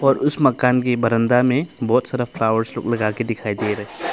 और उस मकान के बरमदा में बहुत सारा फ्लॉवर्स लोग लगा के दिखाई दे रहा--